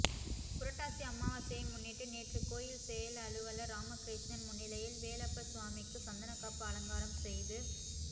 புரட்டாசி அமாவாசையை முன்னிட்டு நேற்று கோயில் செயல் அலுவலர் ராமகிருஷ்ணன் முன்னிலையில் வேலப்பர் சுவாமிக்கு சந்தனக்காப்பு அலங்காரம் செய்து